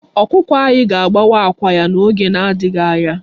Ọkụkọ anyị ga-agbawa àkwá ya n'oge na-adịghị anya.